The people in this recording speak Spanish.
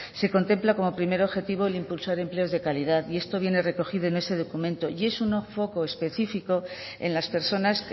se contempla como primer objetivo el impulso de empleo de calidad y esto viene recogido en ese documento y es un foco específico en las personas